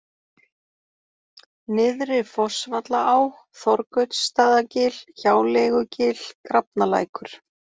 Nyrðri-Fossvallaá, Þorgautsstaðagil, Hjáleigugil, Grafnalækur